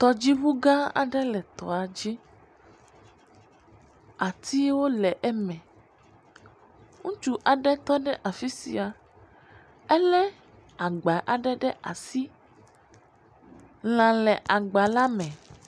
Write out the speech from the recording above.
Tɔdziŋugã aɖe le tɔa dzi, atiwo le eme. Ŋutsu aɖe tɔ ɖe afi sia, elé agba aɖe ɖe asi, lã le agbala me.